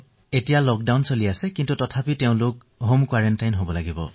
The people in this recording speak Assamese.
এতিয়াটো লক্ডাউন হৈছে তেওঁলোকে নিজকে ন্যূনতম ১৪ দিনৰ বাবে লক্ডাউন কৰি ৰাখিব লাগে